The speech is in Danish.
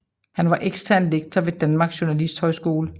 Han var ekstern lektor ved Danmarks Journalisthøjskole